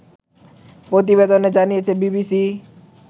প্রতিবেদনে জানিয়েছে বিবিসি